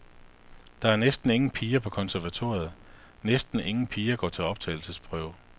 Der er næsten ingen piger på konservatoriet, næsten ingen piger går til optagelsesprøve.